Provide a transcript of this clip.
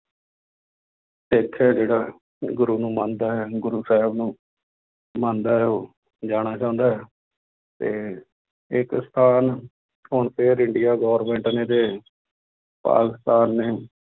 ਸਿੱਖ ਹੈ ਜਿਹੜਾ ਗੁਰੂ ਨੂੰ ਮੰਨਦਾ ਹੈ ਗੁਰੂ ਸਾਹਿਬ ਨੂੰ ਮੰਨਦਾ ਹੈ ਉਹ ਜਾਣਾ ਚਾਹੁੰਦਾ ਹੈ ਤੇ ਇੱਕ ਸਥਾਨ ਹੁਣ ਫਿਰ ਇੰਡੀਆ government ਨੇ ਤੇ ਪਾਕਿਸਤਾਨ ਨੇੇ